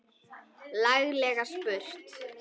Laglega spurt!